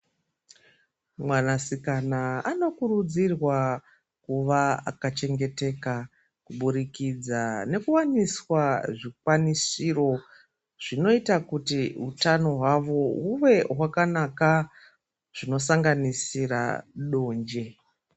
Mwanasikana anokurudzirwa kunge akachengetedzwa kuburikidza nekuwanirwa zvikwanisiro zvinoita kuti utano hwavo have wakanaka zvinosanganisira donje